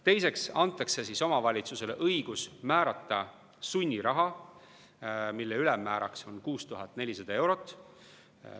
Teiseks antakse omavalitsusele õigus määrata sunniraha, mille ülemmääraks on 6400 eurot.